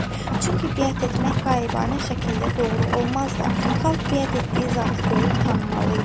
Çünki biyət etmək qayıbanə şəkildə doğru olmazdı, xalq biyət etdiyi zatı görüb tanımalı idi.